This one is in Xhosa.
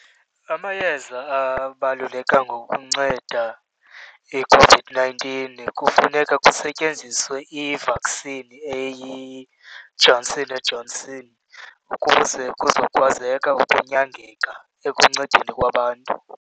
Amayeza ababaluleka ukunceda iCOVID-nineteen kufuneka kusetyenziswe i-vaccine eyiJohnson and Johnson ukuze kuzokwazeka ukunyangeka ekuncedeni kwabantu.